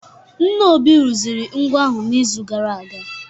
Nna Obi rụziri ngwo ahụ n'izu gara aga